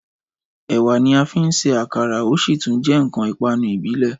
Ẹ̀wà ni a fín ṣe àkàrà o sí tún jẹ́ ǹkan ìpanu ìbílẹ̀